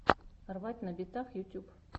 рвать на битах ютьюб